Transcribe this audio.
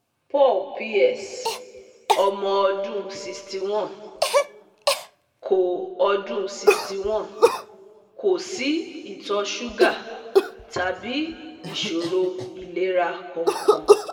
Paul PS, omo odun sixty one, ko odun sixty one, ko si ito suga tabi isoro ilera kan kan